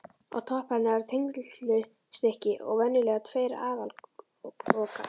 Á toppi hennar er þenslustykki og venjulega tveir aðallokar.